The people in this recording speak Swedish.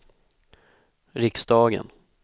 riksdagen